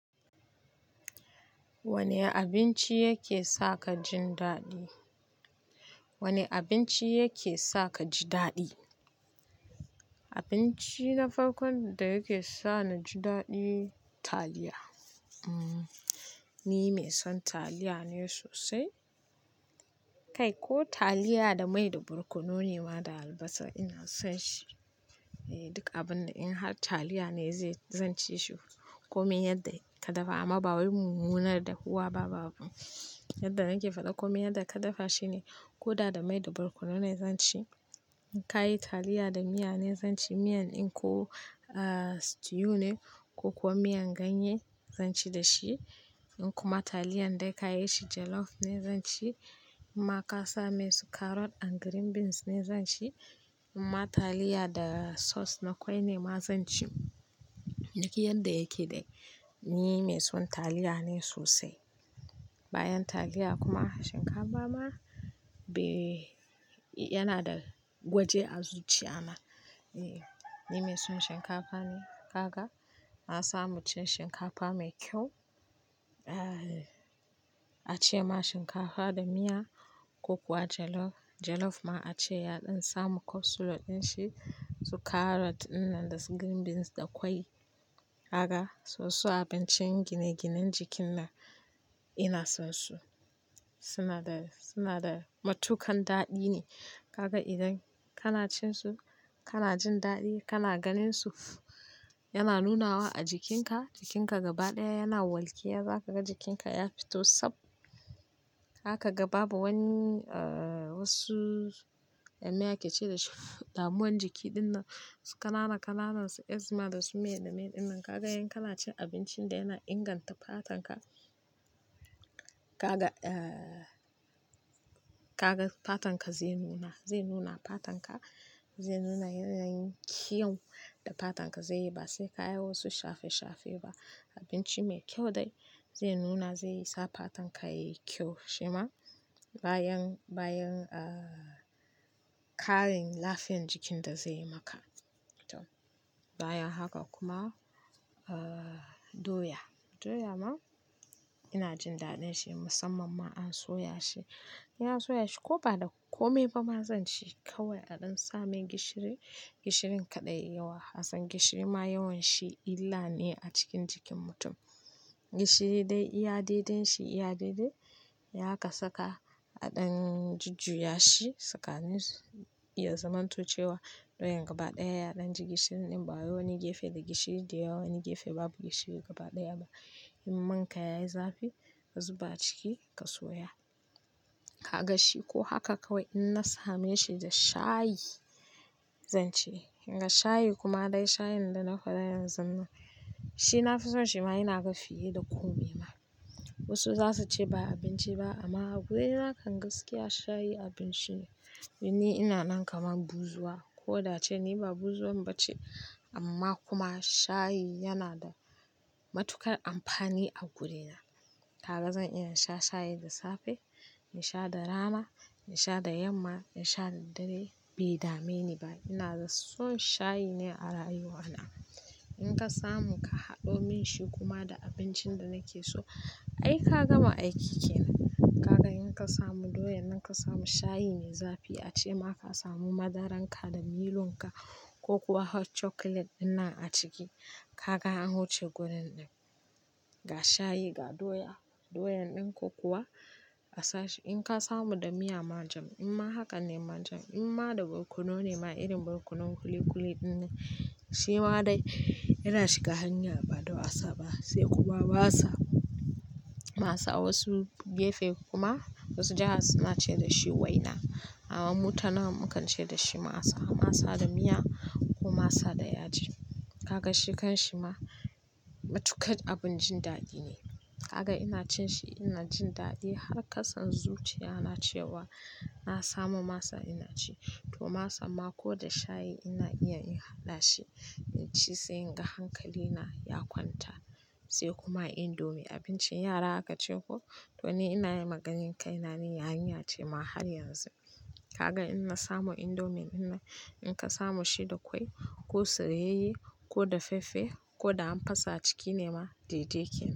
Wane abinci yake sa ka jin daɗi? Wane abinci yake sa ka ji daɗi? Abinci na farkon da yake sa na ji daɗi, taliya. Ni mai son taliya ne sosai. Kai ko taliya da mai da barkonone ma da albasa ina son shi. Duk abun da in har taliya ne zai-- zan ci shi. Komin yadda ka dafa amma bawai mun munar da huwa ba babu. Yadda nake faɗa komin yadda ka dafa shi ne, ko da da mai da barkono ne zan ci. In ka yi taliya da miya ne zan ci miyan. In ko, ah, stew ne ko kuwa miyan ganye, zan ci da shi. In kuma taliyar da ka yi shi jollof ne zan ci. In ma ka sa mai su carrot and green beans ne zan ci. In ma taliya da sauce na ƙwai ne ma zan ci. Duk yadda yake dai, ni mai son taliya ne sosai. Bayan taliya kuma shinkafa ma be-- yana da waje a zuciya na. Eh, ni mai son shinkafa ne. Kaga, na samu cin shinkafa mai kyau, a ce ma shinkafa da miya ko kuwa jollof. Jollof ma a ce yaɗin samu capsule ɗin shi, su carrot dinnan da su green beans da ƙwai. Haka, su su abincin gine-ginen jikin nan ina son su. Suna da, suna da matukan daɗi ne. Kaga idan kana cin su, kana jin daɗi, kana ganin su yana nunawa a jikinka. Jikinka gaba ɗaya yana walƙiya, za ka ga jikinka ya fito tsab. Zaka ga babu wani, ah, wasu, me ake ce da shi? Damuwan jiki dinnan su ƙananan-ƙananan su asthma da su me da me dinnan. Kaga in kana cin abincin da yana inganta fatan ka, kaga, ah, kaga fatan ka zai nuna, zai nuna fatan ka, zai nuna yanayin kyau da fatan ka zai yi. Ba sai ka yi wasu shafe-shafe ba. Abinci mai kyau dai zai nuna, zai sa fatan ka yayi kyau, shima bayan, bayan, ah, ƙarin lafiyar jikin da zai yi maka. To, bayan haka kuma, ah, doya. Doya ma ina jin daɗin shi musamman ma an soya shi. In an soya shi ko ba da komai ba ma zan ci. Kawai a ɗan sa mai gishiri, gishirin kaɗai kar yayi yawa. Hassan gishiri ma yawan shi illa ne a cikin jikin mutum. Gishiri dai iyade den shi iyade. In aka saka a ɗan jujjaya shi, saka ni ya zamanto cewa doyan gaba ɗaya ya ɗan ji gishirin ɗin. Babu wani gefe da gishiri da yawa, wani gefe babu gishiri gaba ɗaya ba. In man ka yayi zafi, ka zuba a ciki ka soya. Kaga shi ko haka kawai in na same shi da shayi zan ce. In ga shayi kuma dai shayin da na faɗa yanzun nan, shi na fi son shi ma ina ga fiye da komai ma. Wasu za su ce "ba abinci ba" amma a gurena kan gaskiya shayi abinci ne. Don ni ina nan kamar buzuwa. Ko da ce ni ba buzuwan ba ce amma kuma shayi yana da matukar amfani a gurina. Kaga zan ina sha shayi da safe, in sha da rana, in sha da yamma, in sha da dare bai dame ni ba. Ina da son shayi ne a rayuwa na. In ka samu ka haɗo min shi kuma da abincin da nake so, ai ka gama aiki ke nan. Kaga in ka samu doya nan ka samu shayi mai zafi a ce ma ka samu madaran ka da milo'n ka ko kuwa hot chocolate dinnan a ciki, kaga an wuce gurin ɗin. Ga shayi, ga doya, doyan ɗin ko kuwa a sa shi. In ka samu da miya manjam, in ma haka ne manjam. In ma da barkononai ma irin barkonon kuli-kuli dinnan. Shi ma dai yana shiga hanya baɗa a sa ba sai kuna ba sa, masa a wasu gefe kuma wasu jiha suna ce da shi waina. Amma mu tanawan mu kan ce da shi masa, masa da miya ko masa da yaji. Kaga shi kan shi ma matukar abun jin daɗi ne. Kaga ina cin shi ina jin daɗi har ka san zuciya na ce wa "na samu masa ina ci". To masan ma ko da shayi ina iya in haɗa shi in ci sai in ga hankali na ya kwanta. Sai kuma indomie, abincin yara aka ce ko? To ni ina yi maganin kai na ni yarinya ce ma har yanzu. Kaga in na samu indomin nan, in ka samu shi da ƙwai ko soyaiye yi ko da faffe ko da amfasa a ciki ne ma, dai yake.